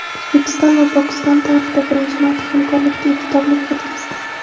O‘zbekiston va Pokiston tarixda birinchi marta hamkorlikda iftorlik o‘tkazdi.